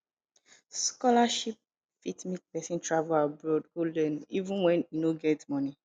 scholarship fit make pesin travel abroad go learn even when e no get money